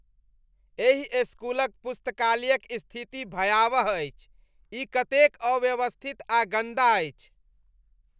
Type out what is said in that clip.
एहि इस्कूलक पुस्तकालयक स्थिति भयावह अछि, ई कतेक अव्यवस्थित आ गन्दा अछि।